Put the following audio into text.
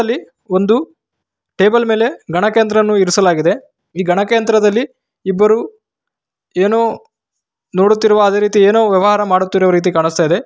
ಅಲ್ಲಿ ಒಂದು ಟೇಬಲ್‌ ಮೇಲೆ ಗಣಕಯಂತ್ರವನ್ನು ಇರಿಸಲಾಗಿದೆ ಈ ಗಣಕಯಂತ್ರದಲ್ಲಿ ಇಬ್ಬರು ಏನೋ ನೋಡುತ್ತಿರುವ ಅದೇ ರೀತಿ ಏನೋ ವ್ಯವಹಾರ ಮಾಡುತ್ತಿರುವ ರೀತಿ ಕಾಣಿಸ್ತಾ ಇದೆ.